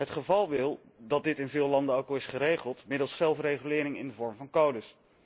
Het geval wil dat dit in veel landen ook al is geregeld middels zelfregulering in de vorm van codes.